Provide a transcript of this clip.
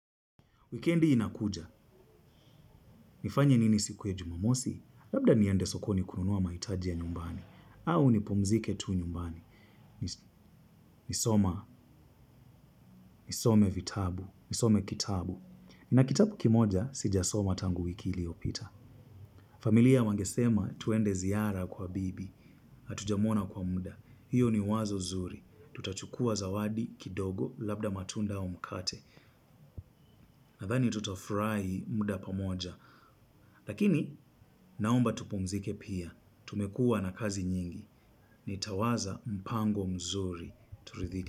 Wikendi inakuja, nifanye nini siku ya jumamosi, labda niende sokoni kununua maitaji ya nyumbani, au ni pumzike tu nyumbani, nisoma, nisome vitabu, nisome kitabu. Na kitabu kimoja, sijasoma tangu wiki iliopita. Familia wangesema tuende ziara kwa bibi, hatujamwona kwa muda, hiyo ni wazo zuri, tutachukua zawadi, kidogo, labda matunda au mkate. Nadhani tutafurai muda pamoja. Lakini naomba tupumzike pia. Tumekua na kazi nyingi. Nitawaza mpango mzuri. Turidhike.